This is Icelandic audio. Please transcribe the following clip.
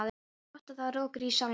Eins gott að það er rökkur í salnum.